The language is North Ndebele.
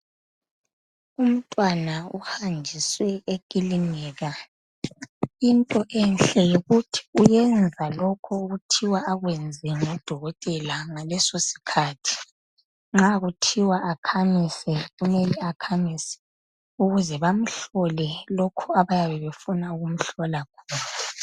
Umntwana uhanjiswe ekilinika. Into enhle yikuthi uyenza lokho okuthiwa akwenze ngodokotela ngaleso sikhathi. Nxa kuthiwa akhamise kumele akhamise ukuze bamhlole lokho abayabe befuna ukumhlola khona.